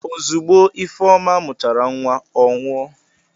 Ozugbo Ifeoma mụchara nwa, ọ nwụọ.